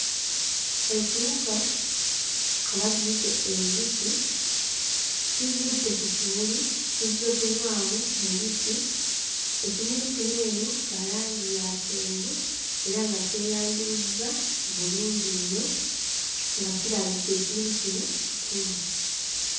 Ekiwuka, oba giyite enjuki kigudde ku kimuli kizze kunywamu mubisi. Ekimuli kino eno kya langi ya kyenvu era nga kyeyanjuluzza bulungi nnyo, nga kirabika ekimuli kino kikulu.